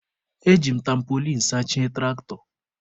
E ji m tampolin sachie tụraktọ.